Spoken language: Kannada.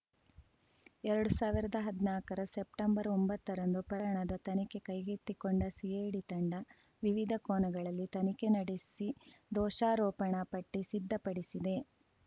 ಎರಡ್ ಸಾವ್ರ್ದಾ ಹದ್ನಾಕರ ಸೆಪ್ಟೆಂಬರ್‌ ಒಂಬತ್ತರಂದು ಪ್ರಣದ ತನಿಖೆ ಕೈಗೆತ್ತಿಕೊಂಡ ಸಿಐಡಿ ತಂಡ ವಿವಿಧ ಕೋನಗಳಲ್ಲಿ ತನಿಖೆ ನಡೆಸಿ ದೋಷಾರೋಪಣಾ ಪಟ್ಟಿಸಿದ್ಧಪಡಿಸಿದೆ